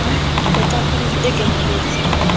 le qapodiso e kenelletseng ya